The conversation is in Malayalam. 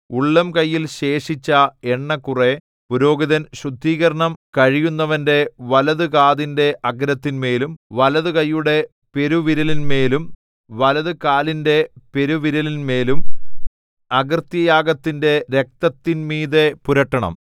ഉള്ളംകൈയിൽ ശേഷിച്ച എണ്ണ കുറെ പുരോഹിതൻ ശുദ്ധീകരണം കഴിയുന്നവന്റെ വലതുകാതിന്റെ അഗ്രത്തിന്മേലും വലതുകൈയുടെ പെരുവിരലിന്മേലും വലതുകാലിന്റെ പെരുവിരലിന്മേലും അകൃത്യയാഗത്തിന്റെ രക്തത്തിന്മീതെ പുരട്ടണം